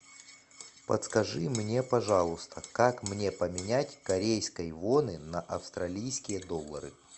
подскажи мне пожалуйста как мне поменять корейской воны на австралийские доллары